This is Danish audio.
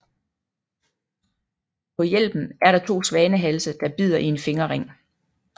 På hjelmen er der to svanehalse der bider i en fingerring